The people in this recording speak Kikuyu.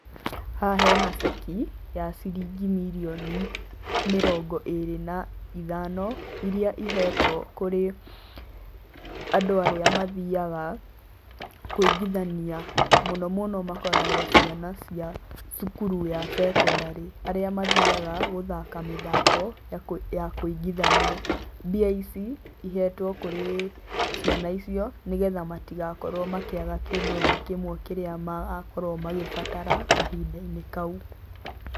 Haha hena ceki ya ciringi mirioni mĩrongo ĩrĩ na ithano iria ihetwo kũrĩ andũ arĩa mathiaga kũingithania mũno mũno makoragwo ciana cia cukuru ya cekondarĩ arĩa mathiaga gũthaka mĩthako ya kũingithania. Mbia ici ihetwo kũrĩ ciana icio nĩgetha matigakorwo makĩaga kĩndũ ona kĩmwe kĩrĩa magakorwo magĩbatara kahinda-inĩ kau.